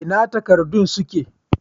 Ina takardun suke?